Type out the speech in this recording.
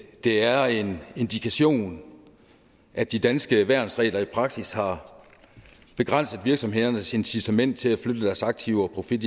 er en indikation af at de danske værnsregler i praksis har begrænset virksomhedernes incitament til at flytte deres aktiver og profit